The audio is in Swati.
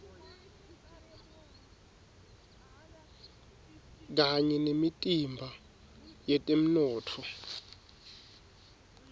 kanye nemitimba yetemnotfo